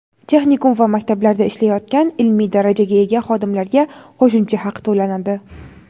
texnikum va maktablarda ishlayotgan ilmiy darajaga ega xodimlarga qo‘shimcha haq to‘lanadi.